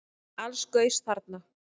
Alls gaus þarna